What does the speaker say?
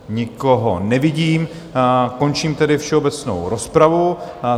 Nikoho nevidím, končím tedy všeobecnou rozpravu.